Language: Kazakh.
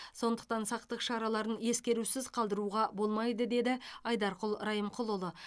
сондықтан сақтық шараларын ескерусіз қалдыруға болмайды деді айдарқұл райымқұлұлы